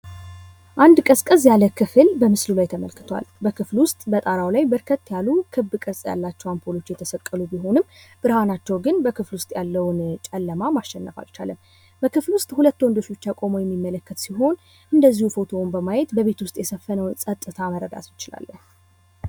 አንድ ቀዝቀዝ ያለ ክፍል በምስሉ ላይ ተመልክቷል። በጣራው ላይ ለየት የሉ ክብ ቅርጽ ያላቸው አምፖሎች የተሰቀሉ ቢሆንም ብርሃናቸው ግን በክፍሉ ውስጥ ያለውን ጨለማ ማሸረፍ አልቻለም። በክፍሉ ዉስጥ ሁለት ወንዶች ብቻ ቆመው የምንመለከት ሲሆን እንድዚሁም ፎቶውን በማየት በቤት ዉስጥ የሰፈነውን ጽጥታ መረዳት እንችላለን።